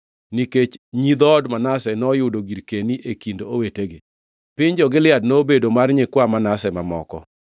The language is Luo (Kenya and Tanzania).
nikech nyi dhood Manase noyudo girkeni e kind owetegi. Piny jo-Gilead nobedo mar nyikwa Manase mamoko.